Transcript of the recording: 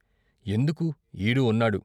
" ఎందుకు ఈడూ ఉన్నాడు.